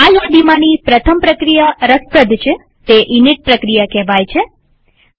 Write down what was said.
આ યાદીમાંની પ્રથમ પ્રક્રિયા રસપ્રદ છેતે ઇનિટ પ્રક્રિયા કહેવાય છે